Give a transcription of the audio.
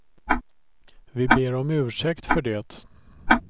Vi ber om ursäkt för det.